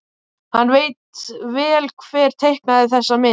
Hann veit vel hver teiknaði þessa mynd.